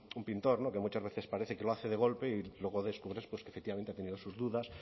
un pintor que muchas veces parece que lo hace de golpe y luego descubres pues que efectivamente ha tenido sus dudas